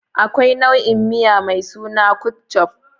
Akwai nau'i miya mai suna Ketchuf.